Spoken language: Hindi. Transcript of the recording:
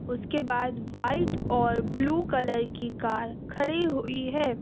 उसके बाद वाइट और ब्लू कलर की कार खड़ी हुई है।